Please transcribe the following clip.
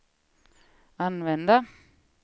använda